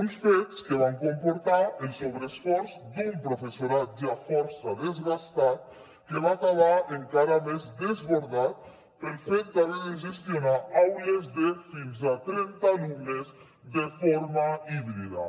uns fets que van comportar el sobreesforç d’un professorat ja força desgastat que va acabar encara més desbordat pel fet d’haver de gestionar aules de fins a trenta alumnes de forma híbrida